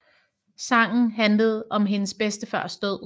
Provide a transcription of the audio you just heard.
Sangen handlede om hendes bedstefars død